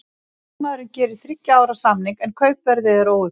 Leikmaðurinn gerir þriggja ára samning, en kaupverðið er óuppgefið.